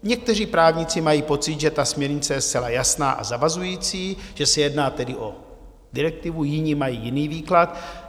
Někteří právníci mají pocit, že ta směrnice je zcela jasná a zavazující, že se jedná tedy o direktivu, jiní mají jiný výklad.